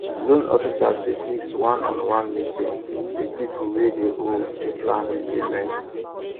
loan officers dey fix one on one meeting with people wey dey owe to plan repayment